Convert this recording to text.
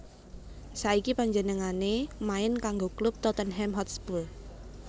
Saiki panjenengané main kanggo klub Tottenham Hotspur